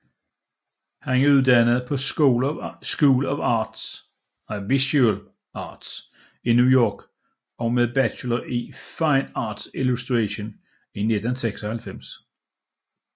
Han er uddannet på School of Visual Arts i New York med en Bachelor i Fine Arts illustration i 1996